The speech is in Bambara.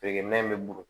Feerekɛ minɛn bɛ buguru